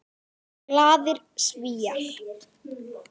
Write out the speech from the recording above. Glaðir Svíar.